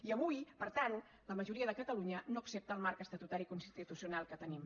i avui per tant la majoria de catalunya no accepta el marc estatutari constitucional que tenim